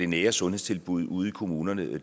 nære sundhedstilbud ude i kommunerne